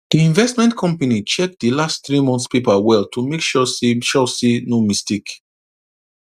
d investment company check d last three month paper well to make sure say sure say no mistake